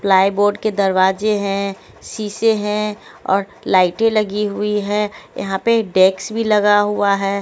Plywood के दरवाजे हैं शीशे हैं और लाइटें लगी हुई है यहां पे डेक्स भी लगा हुआ है।